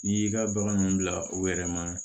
N'i y'i ka baganw bila u yɛrɛ ma